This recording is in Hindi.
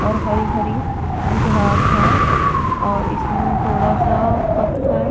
और हरी हरी घास है और इसमें थोड़ा सा पत्थर--